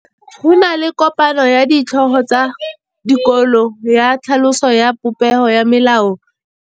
Go na le kopanô ya ditlhogo tsa dikolo ya tlhaloso ya popêgô ya melao ya dikolo.